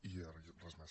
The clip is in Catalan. i res més